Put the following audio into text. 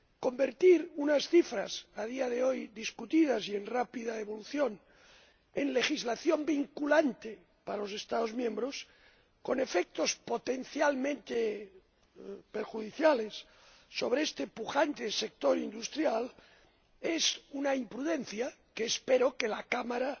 Convertir unas cifras, discutidas actualmente y en rápida evolución, en legislación vinculante para los Estados miembros, con efectos potencialmente perjudiciales sobre este pujante sector industrial, es una imprudencia que espero que la Cámara